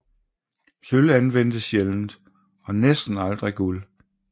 Sølv anvendtes sjældent og næsten aldrig guld